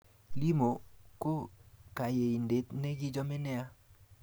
Limo ko kanyaindet ne kichame nea